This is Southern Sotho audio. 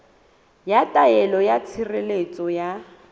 ya taelo ya tshireletso ya